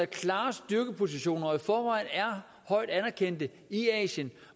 klare styrkepositioner og i forvejen er højt anerkendte i asien